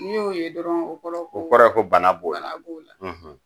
N'i y'o ye dɔrɔn o kɔrɔ ye ko bana b'o la ban b'o la.